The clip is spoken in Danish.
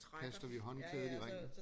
Kaster vi håndklædet i ringen